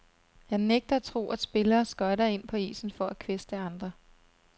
Jeg nægter at tro, at spillere skøjter ind på isen for at kvæste andre.